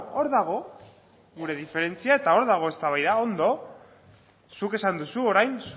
hor dago gure diferentzia eta hor dago eztabaida ondo zuk esan duzu orain